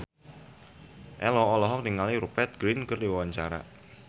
Ello olohok ningali Rupert Grin keur diwawancara